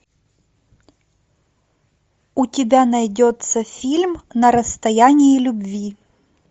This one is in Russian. у тебя найдется фильм на расстоянии любви